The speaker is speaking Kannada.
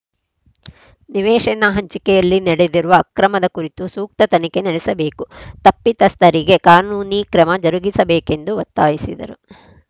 ನಿವೇಶನ ಹಂಚಿಕೆಯಲ್ಲಿ ನಡೆದಿರುವ ಅಕ್ರಮದ ಕುರಿತು ಸೂಕ್ತ ತನಿಖೆ ನಡೆಸಬೇಕು ತಪ್ಪಿತಸ್ಥರಿಗೆ ಕಾನೂನಿ ಕ್ರಮ ಜರುಗಿಸಬೇಕೆಂದು ಒತ್ತಾಯಿಸಿದರು